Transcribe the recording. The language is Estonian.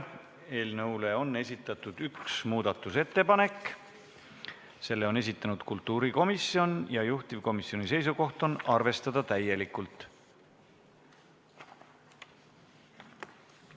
Eelnõu kohta on tehtud üks muudatusettepanek, selle on esitanud kultuurikomisjon, ja juhtivkomisjoni seisukoht on arvestada seda täielikult.